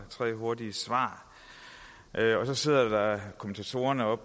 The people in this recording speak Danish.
og tre hurtige svar og så sidder kommentatorerne og